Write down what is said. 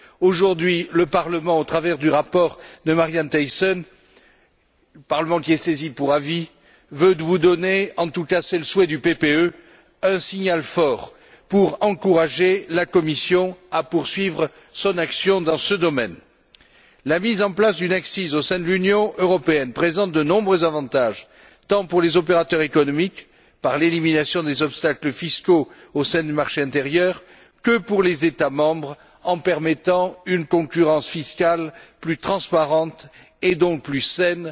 Aujourd'hui, le Parlement, qui est saisi pour avis, souhaite, au travers du rapport de Marianne Thyssen, vous donner en tout cas, c'est le souhait du PPE un signal fort pour encourager la Commission à poursuivre son action dans ce domaine. La mise en place d'une ACCIS au sein de l'Union européenne présente de nombreux avantages, tant pour les opérateurs économiques par l'élimination des obstacles fiscaux au sein du marché intérieur que pour les États membres en permettant une concurrence fiscale plus transparente et donc plus saine